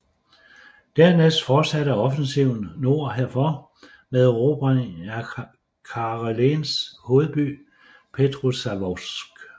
Dernæst fortsatte offensiven nord herfor med erobring af Karelens hovedby Petrozavodsk